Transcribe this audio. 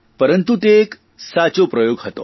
પરંતુ એ એક તે એક સારો પ્રયોગ હતો